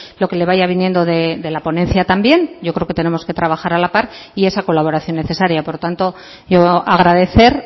lo que le vaya viniendo de la ponencia también yo creo que tenemos que trabajar a la par y esa colaboración necesaria por tanto yo agradecer